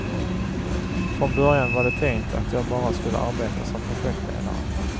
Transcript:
Från början var det tänkt att jag bara skulle arbeta som projektledare.